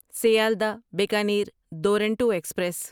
Sealdah Bikaner Duronto express